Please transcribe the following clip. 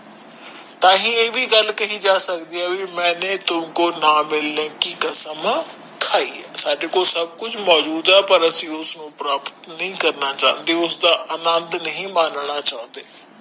ਮੇਨੇ ਤੁਮਕੋ ਨਾ ਮਿਲਨੇ ਕਿ ਕਸਮ ਖਾਇ ਹੈ ਹੁਣ ਤੁਸੀ ਦੇਖੋ ਸਾਡੇ ਕੋਲ ਸਾਰਾ ਕੁਝ ਹੁੰਦਾ ਹੈ ਪਰ ਫੇਰ ਵੀ ਅਸੀਂ ਉਸਦਾ ਆਨੰਦ ਨਹੀਂ ਮਾਣਦੇ